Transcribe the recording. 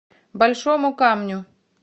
большому камню